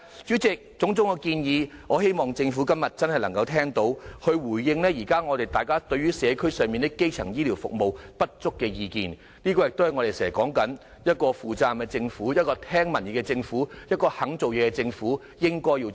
主席，我希望政府今天真的能夠聽到種種建議，回應大家現時對於社區基層醫療服務不足的意見，正如我們經常說，這是一個負責任、聽取民意、肯做事的政府應該要做的事。